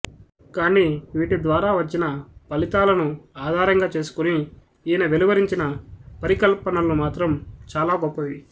కాని వీటిద్వారా వచ్చిన ఫలితాలను ఆధారంగా చేసుకుని ఈయన వెలువరించిన పరి కల్పనలు మాత్రం చాలా గొప్పవి